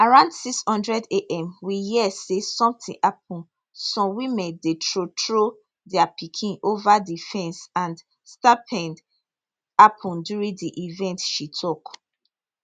around 600 am we hear say sometin happun some women dey throw throw dia pikin ova di fence and stampede happun during di event she tok